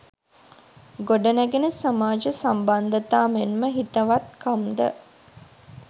ගොඩනැඟෙන සමාජ සම්බන්ධතා මෙන්ම හිතවත්කම් ද